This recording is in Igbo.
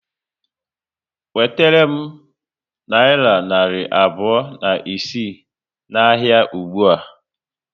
Wetere m nayira narị abụọ na isii na ahịa ụgbụa